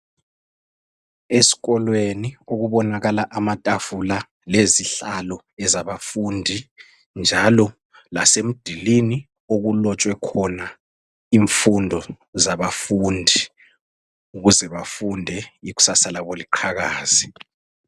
Eskolweni okubonakala amatafula lezihlalo zabafundi njalo lasemdulini okulotshwe khona imfundo zabafundi ukuze bafunde iksasa labo liqhakaze.